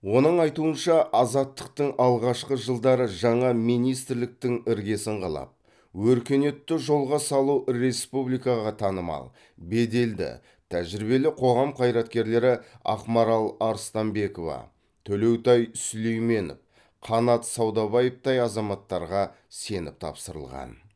оның айтуынша азаттықтың алғашқы жылдары жаңа министрліктің іргесін қалап өркениетті жолға салу республикаға танымал беделді тәжірибелі қоғам қайраткерлері ақмарал арыстанбекова төлеутай сүлейменов қанат саудабаевтай азаматтарға сеніп тапсырылған